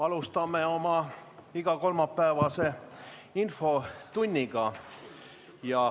Alustame oma igakolmapäevast infotundi.